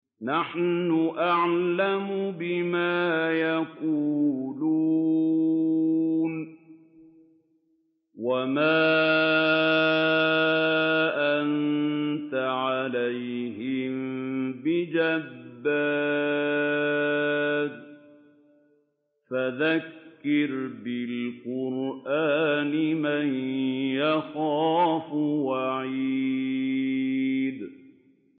نَّحْنُ أَعْلَمُ بِمَا يَقُولُونَ ۖ وَمَا أَنتَ عَلَيْهِم بِجَبَّارٍ ۖ فَذَكِّرْ بِالْقُرْآنِ مَن يَخَافُ وَعِيدِ